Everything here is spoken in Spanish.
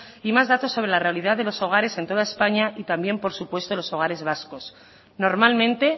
y más datos sobre la realidad de los hogares en toda españa y también por supuesto en los hogares vascos normalmente